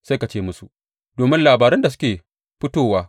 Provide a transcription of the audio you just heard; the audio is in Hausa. Sai ka ce musu, Domin labarun da suke fitowa.